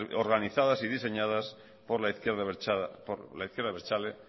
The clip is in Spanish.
organizadas y diseñadas por la izquierda abertzale